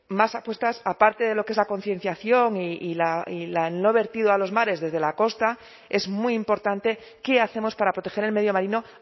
más apuestas aparte de lo que es la concienciación y el no vertido a los mares desde la costa es muy importante qué hacemos para proteger el medio marino